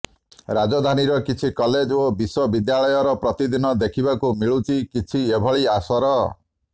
ରାଜଧାନୀର କିଛି କଲେଜ ଓ ବିଶ୍ୱବିଦ୍ୟାଳୟର ପ୍ରତିଦିନ ଦେଖିବାକୁ ମିଳୁଛି କିଛି ଏଭଳି ଆସର